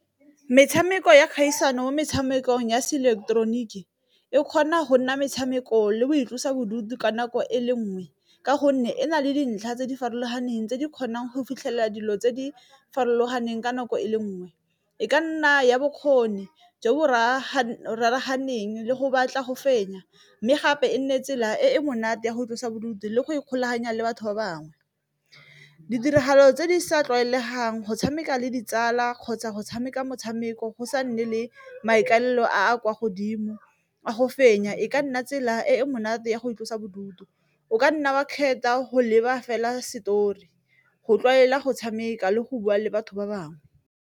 Metshameko ya kgaisano mo metshamekong ya se ileketeroniki e kgona go nna metshameko le boitlosa bodutu ka nako e le nngwe, ka gonne e na le dintlha tse di farologaneng tse di kgonang go fitlhelela dilo tse di farologaneng ka nako e le nngwe, e ka nna ya bokgoni jo bo raraganeng le go batla go fenya, mme gape e nne tsela e e monate ya go tlosa bodutu le go ikgolaganya le batho ba bangwe. Ditiragalo tse di sa tlwaelegang go tshameka le ditsala kgotsa go tshameka motshameko go sa nne le maikalelo a a kwa godimo a go fenya, e ka nna tsela e e monate ya go itlosa bodutu, o ka nna wa kgetha a go leba fela story go tlwaela go tshameka le go bua le batho ba bangwe.